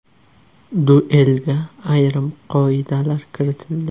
Duelga ayrim qoidalar kiritildi.